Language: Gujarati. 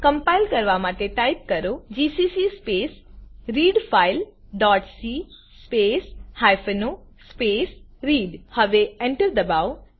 કમ્પાઈલ કરવાં માટે ટાઈપ કરો GCC space read file dot C space hyphen O space read હવે Enter એન્ટર દબાવો